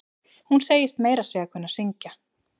Hún segist meira að segja kunna að syngj.